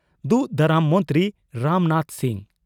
ᱫᱩᱜᱽ ᱫᱟᱨᱟᱢ ᱢᱚᱱᱛᱨᱤ ᱢᱟᱱ ᱨᱟᱡᱽᱱᱟᱛᱷ ᱥᱤᱝ